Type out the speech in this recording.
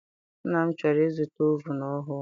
Nna m chọrọ I zụta ovunu ọhụụ.